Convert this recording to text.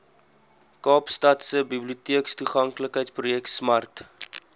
kaapstadse biblioteektoeganklikheidsprojek smart